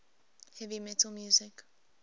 heavy metal music